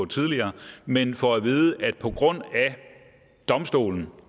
tidligere men får at vide at på grund af domstolen